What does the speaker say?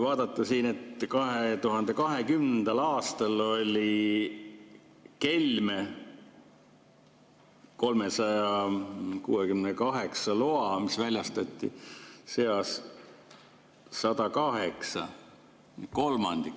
Vaatame siin, et 2020. aastal oli kelme 368 loa seas, mis väljastati, 108 ehk kolmandik.